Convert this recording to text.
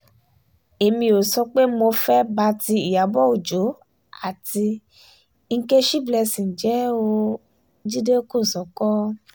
èmi ò sọ pé mo mo fẹ́ẹ́ bá ti ìyàbò ọjọ́ àti nkechi blessing jẹ́ o- jíde kòsókó